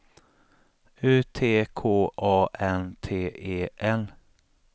U T K A N T E N